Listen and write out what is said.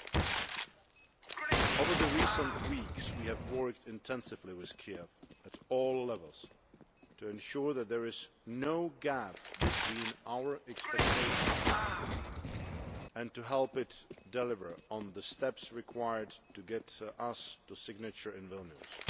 In recent weeks we have worked intensively with Kiev at all levels to ensure that there is no gap between our expectations, and to help it deliver on the steps required to get us to signature in Vilnius.